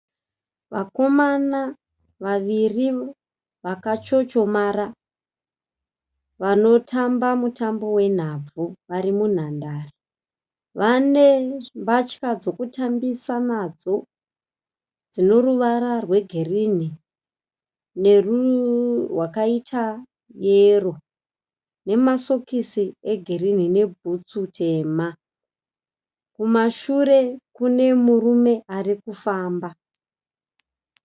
Vakomana vaviri vaka chochomara. Vanotamba mutambo wenhabvu vari munhandare. Vane mbatya dzekutambisa nadzo dzineruvara rwegirinhi nerwakaita yero nemasokisi e girinhi ne bhutsu tema. Kumashure Kune murume arikufamba .